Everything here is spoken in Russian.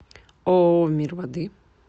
ооо мир воды